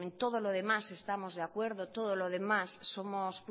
todo lo demás estamos de acuerdo todo lo demás